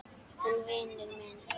En vinur minn.